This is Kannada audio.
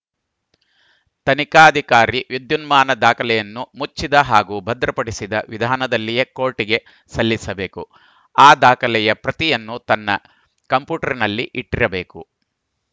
ತನಿಖಾಧಿಕಾರಿ ವಿದ್ಯುನ್ಮಾನ ದಾಖಲೆಯನ್ನು ಮುಚ್ಚಿದ ಹಾಗೂ ಭದ್ರಪಡಿಸಿದ ವಿಧಾನದಲ್ಲಿಯೇ ಕೋರ್ಟ್‌ಗೆ ಸಲ್ಲಿಸಬೇಕು ಆ ದಾಖಲೆಯ ಪ್ರತಿಯನ್ನು ತನ್ನ ಕಂಪ್ಯೂಟರ್‌ನಲ್ಲಿ ಇಟ್ಟಿರಬೇಕು